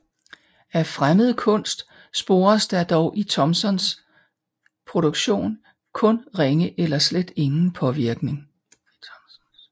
Af fremmed kunst spores der dog i Thomsens produktion kun ringe eller slet ingen påvirkning